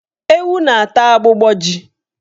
Ewu na-ata agbụgbọ ji.